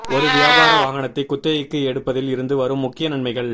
ஒரு வியாபார வாகனத்தை குத்தகைக்கு எடுப்பதில் இருந்து வரும் முக்கிய நன்மைகள்